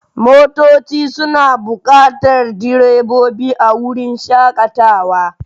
Motoci suna buƙatar direbobi a wurin shakatawa.